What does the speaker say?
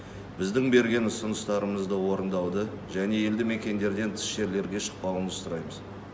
біздің берген ұсыныстарымызды орындауды және елді мекендерден тыс жерлерге шықпауыңызды сұраймыз